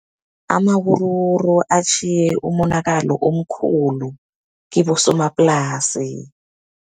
Amawuruwuru atjhiye umonakalo omkhulu kibosomaplasi.